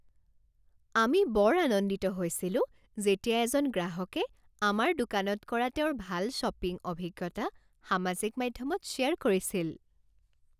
আমি বৰ আনন্দিত হৈছিলো যেতিয়া এজন গ্ৰাহকে আমাৰ দোকানত কৰা তেওঁৰ ভাল শ্বপিং অভিজ্ঞতা সামাজিক মাধ্যমত শ্বেয়াৰ কৰিছিল।